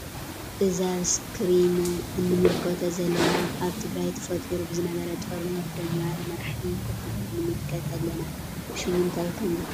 እዚ ኣብ እስከሪነ እንምልለቶ ዘለና ኣበ ትግራይ ተፍጢሩ ብዝነበረ ጦርነት ደው ንምባል መራሕቲ ከፍ ኢሎም ንምለከት ኣለና። ሽሙ እንታይ ከም ዝበሃል ትፈልጡ ዶ?